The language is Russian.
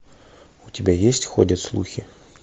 у тебя есть ходят слухи